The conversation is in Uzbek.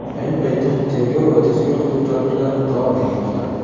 Ayni paytda tergov va tezkor qidiruv tadbirlari davom etmoqda.